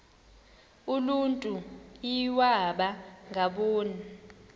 uluntu iwaba ngaboni